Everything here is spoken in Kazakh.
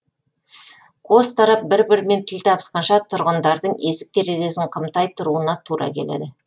қос тарап бір бірімен тіл табысқанша тұрғындардың есік терезесін қымтай тұруына тура келеді